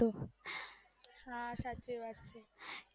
સાચી વાત છે